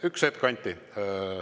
Üks hetk, Anti.